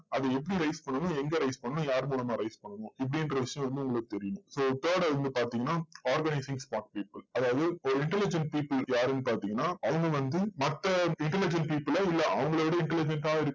அது எப்படி raise பண்ணணும், எங்க raise பண்ணணும், யார் மூலமா raise பண்ணணும், இப்படிங்கற விஷயம் வந்து உங்களுக்கு தெரியணும். so third அ வந்து பாத்தீங்கன்னா organizing smart people அதாவது ஒரு intelligent people யாருன்னு பாத்தீங்கன்னா, அவங்க வந்து மத்த intelligent people அ இல்ல அவங்களவிட intelligent ஆ இருக்க